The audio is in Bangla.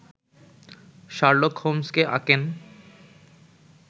শার্লক হোমসকে আঁকেন